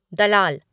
दलाल